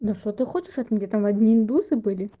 но что ты хочешь от меня там одни индусы были